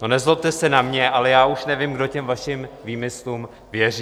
No, nezlobte se na mě, ale já už nevím, kdo těm vašim výmyslům věří.